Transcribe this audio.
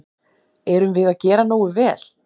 Erum við að gera nógu vel?